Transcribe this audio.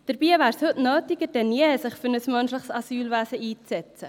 Dabei wäre es heute nötiger denn je, sich für ein menschliches Asylwesen einzusetzen.